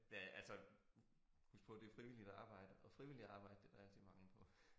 Ja altså husk på det frivilligt arbejde og frivilligt arbejde det der rigtig mangel på